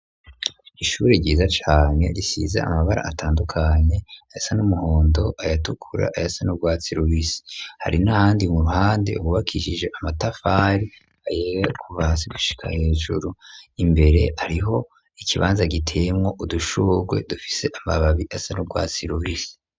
Ishure ryiza cane risize amabara atandukanye, ayasa n'umuhondo, ayatukura ayasa nu rwatsi rubisi, hari n'ahandi mu ruhande hubakishije amatafari kuva hasi gushika hejuru, imbere hariho ikibanza giteyemwo udushugwe dufise amababi asa nurwatsi rubisi.